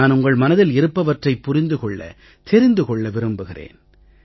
நான் உங்கள் மனதில் இருப்பவற்றைப் புரிந்து கொள்ள தெரிந்து கொள்ள விரும்புகிறேன்